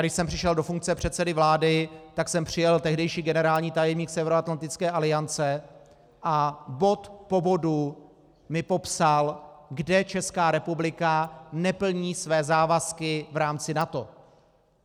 Když jsem přišel do funkce předsedy vlády, tak sem přijel tehdejší generální tajemník Severoatlantické aliance a bod po bodu mi popsal, kde Česká republika neplní své závazky v rámci NATO.